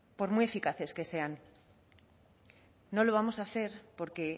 por muy eficaces que sean no lo vamos a hacer porque